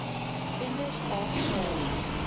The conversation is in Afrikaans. kinders aap graag